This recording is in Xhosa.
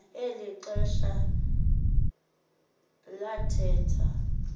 eli xesha lalatha